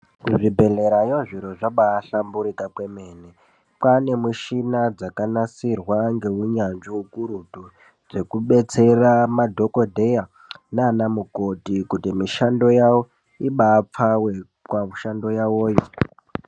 Kuzvi bhedhlerayo zviro zvabavshamburika kwemene. Kwane mishina dzakanasirwa ngeunyanzi ukurutu, zvekubetsera madhokodheya nana mukoti kuti mishando yawo ibapfawe kwa mishando yavoyo.